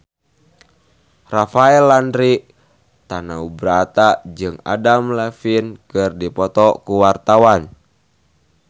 Rafael Landry Tanubrata jeung Adam Levine keur dipoto ku wartawan